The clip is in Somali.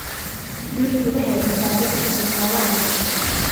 Dhirtu waxay cunto dadka iyo xoolahaba siisaa.